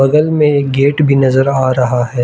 बगल में एक गेट भी नजर आ रहा है।